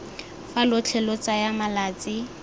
fa lotlhe lo tsaya malatsi